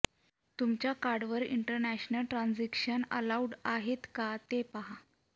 तुमच्या कार्डवर international transactions allowed आहेत का ते पाहा